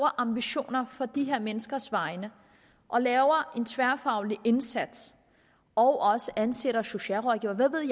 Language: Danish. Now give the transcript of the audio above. ambitioner på de her menneskers vegne og laver en tværfaglig indsats og også ansætter socialrådgivere hvad ved